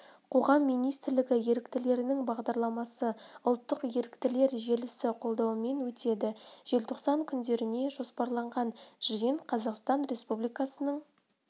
қоғам министрлігі еріктілерінің бағдарламасы ұлттық еріктілер желісі қолдауымен өтеді желтоқсан күндеріне жоспарланған жиын қазақстан республикасының